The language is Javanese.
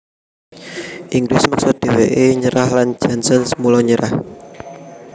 Inggris meksa dhèwèké nyerah lan Janssens mula nyerah